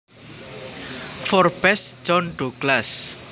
Forbes John Douglas